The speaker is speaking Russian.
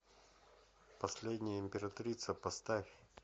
последняя императрица поставь